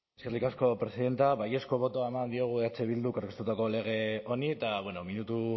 eskerrik asko presidente baiezko botoa eman diogu eh bilduk aurkeztutako lege honi eta bueno minutu